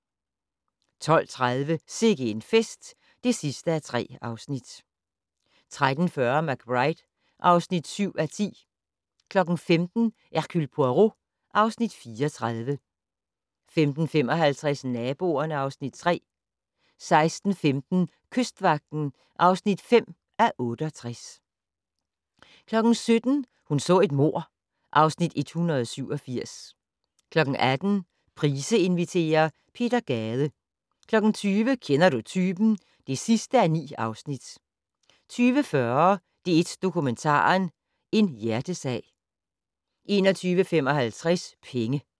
12:30: Sikke en fest (3:3) 13:40: McBride (7:10) 15:00: Hercule Poirot (Afs. 34) 15:55: Naboerne (Afs. 3) 16:15: Kystvagten (5:68) 17:00: Hun så et mord (Afs. 187) 18:00: Price inviterer - Peter Gade 20:00: Kender du typen? (9:9) 20:40: DR1 Dokumentaren - En hjertesag 21:55: Penge